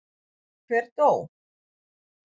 Hver dó?